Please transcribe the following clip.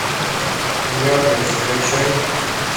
яркость закачай